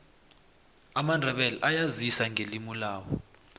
amandebele ayazisa ngelimulabo